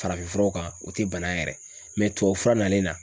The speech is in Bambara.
Farafinfuraw kan o tɛ bana yɛrɛ tubabu fura nalen na.